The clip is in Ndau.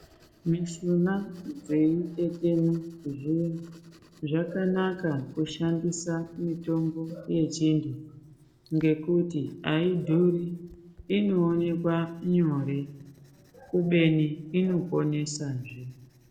Mishuna dzeitetena zviya zvakanaka kushandisa mitombo yechintu ngekuti aidhuri inoonekwa nyore kubeni inoponesa zve.